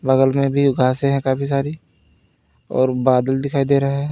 बगल में भी घासे है काफी सारी और बादल दिखाई दे रहा है।